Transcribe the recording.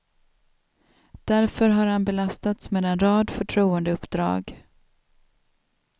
Därför har han belastats med en rad förtroendeuppdrag.